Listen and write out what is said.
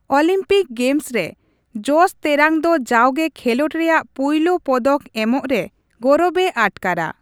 Olympic games ᱨᱮ, ᱡᱚᱥ ᱛᱮᱨᱟᱝ ᱫᱚ ᱡᱟᱣᱜᱮ ᱠᱷᱮᱞᱚᱸᱰ ᱨᱮᱭᱟᱜ ᱯᱩᱭᱞᱩ ᱯᱚᱫᱚᱠ ᱮᱢᱚᱜ ᱨᱮ ᱜᱚᱨᱚᱵᱮ ᱟᱴᱠᱟᱨᱟ ᱾